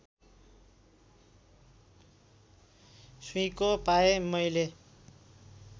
सुइँको पाएँ मैले